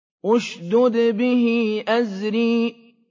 اشْدُدْ بِهِ أَزْرِي